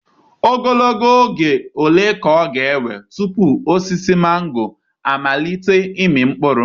Ogologo oge ole ka ọ ga-ewe tupu osisi mango amalite ịmị mkpụrụ?